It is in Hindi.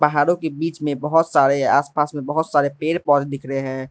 पहाड़ों के बीच में बहुत सारे आस पास में बहुत सारे पेड़ पौधे दिख रहे हैं।